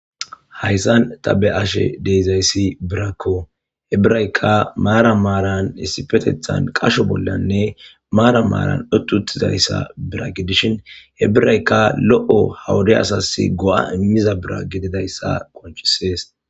Hayssan tani be7ashe dizayssi birako ha birazika maaran maaran issippe qashon maran marin utidishin dizayssa ha wode loo go'a imidayisa qoncises